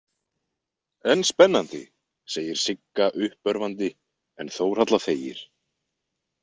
En spennandi, segir Sigga uppörvandi en Þórhalla þegir.